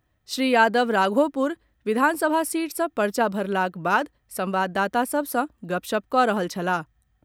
श्री यादव राघोपुर विधानसभा सीट सँ पर्चा भरलाक बाद संवाददाता सभ सँ गपशप कऽ रहल छलाह।